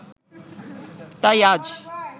তাই আজ